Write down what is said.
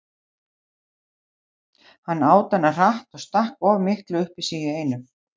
Hann át hana hratt og stakk of miklu upp í sig í einu.